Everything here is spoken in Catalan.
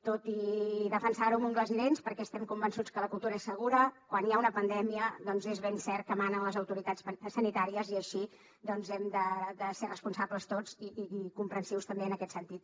tot i defensar ho amb ungles i dents perquè estem convençuts que la cultura és segura quan hi ha una pandèmia doncs és ben cert que manen les autoritats sanitàries i així doncs hem de ser responsables tots i comprensius també en aquest sentit